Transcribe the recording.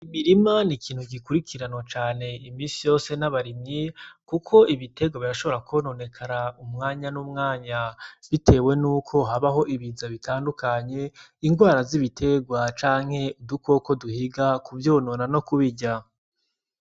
Imirima ni ikintu gikurikiranwa imisi yose n'abarimyi kuko ibiterwa birashobora kwononekara umwanya n'umwanya bitewe nuko habaho ibiza bitandukanye, ingwara z'ibiterwa canke udukoko duhiga kuvyonona no kubirya.